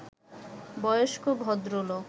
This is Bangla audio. বয়স্ক ভদ্রলোক